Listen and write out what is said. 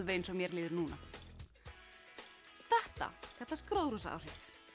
eins og mér líður núna þetta kallast gróðurhúsaáhrif